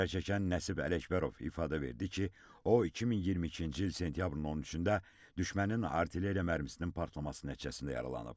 Zərər çəkən Nəsib Ələkbərov ifadə verdi ki, o 2022-ci il sentyabrın 13-də düşmənin artilleriya mərmisinin partlaması nəticəsində yaralanıb.